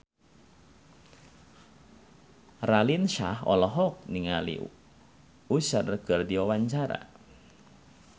Raline Shah olohok ningali Usher keur diwawancara